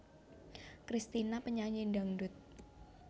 Kristina penyanyi dangdut